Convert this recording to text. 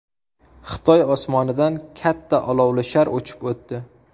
Xitoy osmonidan katta olovli shar uchib o‘tdi .